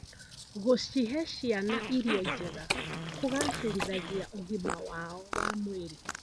Gũcihe ciana irio njega kũgacĩrithagia ũgima wao wa mwĩrĩ.